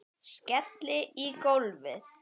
Skelli í gólfið.